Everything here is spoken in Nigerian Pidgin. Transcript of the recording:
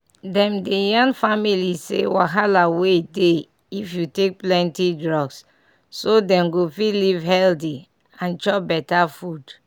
dem dey yarn families say wahala wey dey if you take plenty drugs so dem go fit live healthy and chop better food.